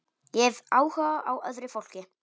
Ég hef áhuga á öðru fólki.